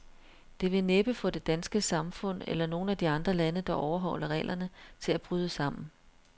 Det vil næppe få det danske samfund, eller nogen af de andre lande, der overholder reglerne, til at bryde sammen.